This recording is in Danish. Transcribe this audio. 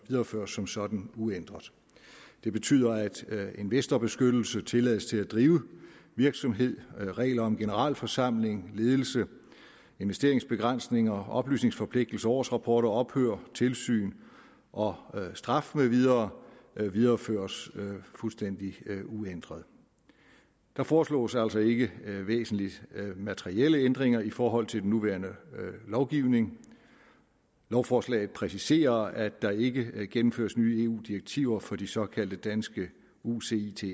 videreføres som sådan uændret det betyder at investorbeskyttelse tilladelse til at drive virksomhed regler om generalforsamling ledelse investeringsbegrænsninger oplysningsforpligtelser årsrapporter ophør tilsyn og straf med videre videreføres fuldstændig uændret der foreslås altså ikke væsentlige materielle ændringer i forhold til den nuværende lovgivning lovforslaget præciserer at der ikke gennemføres nye eu direktiver for de såkaldte danske ucitser